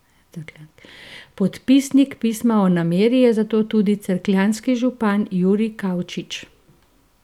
Podpisnik pisma o nameri je zato tudi cerkljanski župan Jurij Kavčič.